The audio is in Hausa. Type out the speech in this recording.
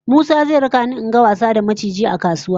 Musa zai raka ni in ga wasa da maciji a kasuwa